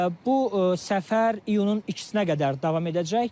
Bu səfər iyunun ikisinə qədər davam edəcək.